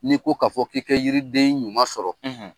N'i ko ka fɔ k'i kɛ yiriden ɲuman sɔrɔ